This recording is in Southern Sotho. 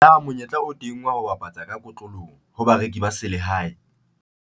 Na monyetla o teng wa ho bapatsa ka kotloloho ho bareki ba selehae?